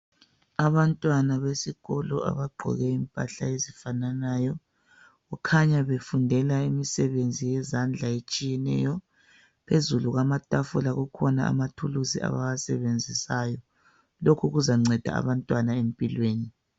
Abantwana besikolo abagqoke impahla ezifananayo. Kukhanya befundela imisebenzi yezandla etshiyeneyo. Phezulu kwamatafula kukhona amathuluzi abawasebenzisayo lokhu kuzanceda abantwana empilweni.